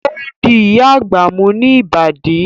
O di Ìyá àgbà mú ní Ìbàdí